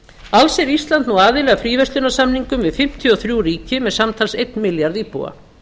alls er ísland nú aðili að fríverslunarsamningum við fimmtíu og þrjú ríki með samtals einn milljarð íbúa